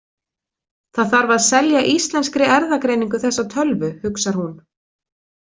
Það þarf að selja Íslenskri erfðagreiningu þessa tölvu, hugsar hún.